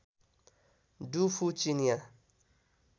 do Fu चिनियाँ